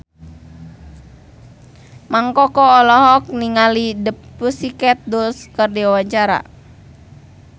Mang Koko olohok ningali The Pussycat Dolls keur diwawancara